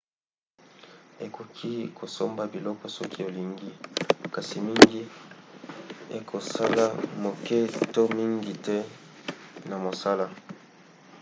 ekoki kosomba biloko soki olingi kasi mingi ekosalisa moke to mingi te na mosala